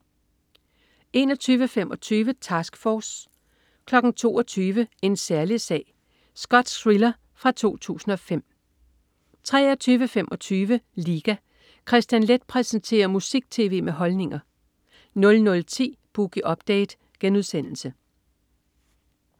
21.25 Task Force 22.00 En særlig sag. Skotsk thriller fra 2005 23.25 Liga. Kristian Leth præsenterer musik-tv med holdninger 00.10 Boogie Update*